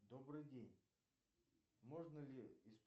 добрый день можно ли